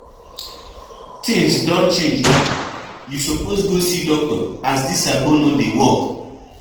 Tins don change now, you suppose go see doctor as dis agbo no dey work.